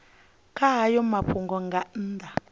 kha hayo mafhungo nga nnḓa